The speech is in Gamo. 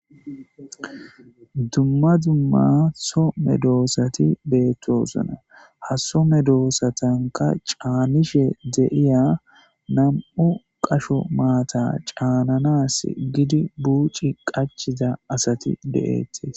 Dumma dumma so medosati betosona ha Soo medosatanka c'anishe betosona nam'u qasho maatta c'ananaw buc'i qachi wotida asati de'etes.